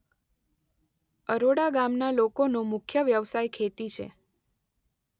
અરોડા ગામના લોકોનો મુખ્ય વ્યવસાય ખેતી છે.